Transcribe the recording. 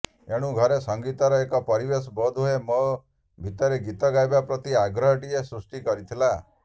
ଏଣୁ ଘରେ ସଙ୍ଗୀତର ଏକ ପରିବେଶ ବୋଧହୁଏ ମୋ ଭିତରେ ଗୀତ ଗାଇବା ପ୍ରତି ଆଗ୍ରହଟିଏ ସୃଷ୍ଟି କରିଥିଲା